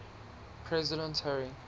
president harry